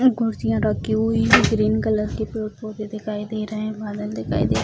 कुर्सियाँ रखी हुई है ग्रीन कलर की पेड़ पौधे दिखाई दे रहे हैं बादल दिखाई दे रहा है |